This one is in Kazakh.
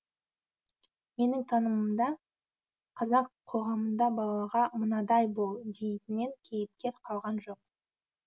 менің танымымда қазақ қоғамында балаға мынадай бол дейтіне кейіпкер қалған жоқ